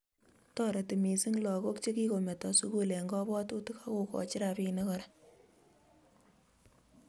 Toreti missing lagok chekikometo sukul eng kabwatutik ak kokochi rabiinik kora